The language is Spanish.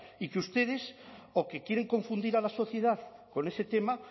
y que ustedes o que quieren confundir a la sociedad con ese tema